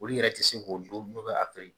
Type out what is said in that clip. Olu yɛrɛ tɛ se ko don n'u bɛ a feere